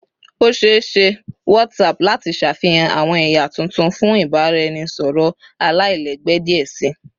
O ṣee ṣe WhatsApp lati ṣafihan awọn ẹya tuntun fun ibaraẹnisọrọ alailẹgbẹ diẹ sii